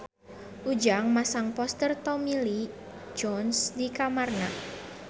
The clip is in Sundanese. Ujang masang poster Tommy Lee Jones di kamarna